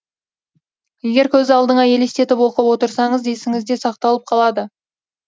егер көз алдыңа елестетіп оқып отырсаңыз есіңізде сақталып қалады